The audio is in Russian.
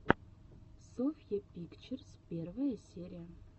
софья пикчерз первая серия